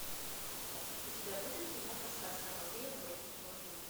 у тебя будет киноха сказка о попе и работнике балде